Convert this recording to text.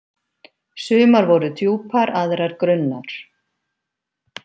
Sumar voru djúpar, aðrar grunnar.